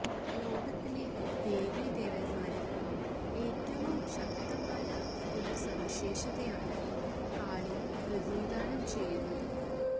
ലോകത്തിലെ ദേവീദേവന്മാരിൽ ഏറ്റവും ശക്തമായ ഒരു സവിശേഷതയാണ് കാളി പ്രതിനിധാനം ചെയ്യുന്നത്